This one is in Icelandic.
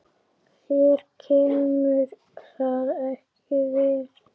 Þér kemur það ekki við.